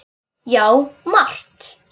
Já, margt.